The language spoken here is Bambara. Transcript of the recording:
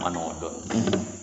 ma nɔgɔn dɔɔnin